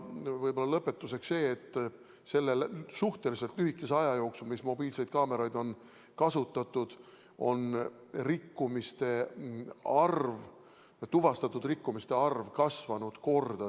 Võib-olla lõpetuseks see, et selle suhteliselt lühikese aja jooksul, kui mobiilseid kaameraid on kasutatud, on tuvastatud rikkumiste arv kasvanud mitu korda.